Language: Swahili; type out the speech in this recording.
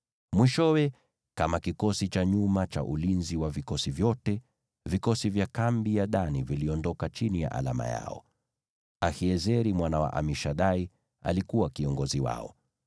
Mwishowe, kama kikosi cha nyuma cha ulinzi wa vikosi vyote, vikosi vya kambi ya Dani viliondoka chini ya alama yao. Ahiezeri mwana wa Amishadai alikuwa kiongozi wao.